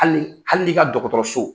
Hali hali i ka dɔgɔtɔrɔ so